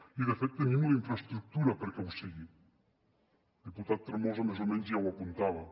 i de fet tenim la infraestructura perquè ho sigui el diputat tremosa més o menys ja ho apuntava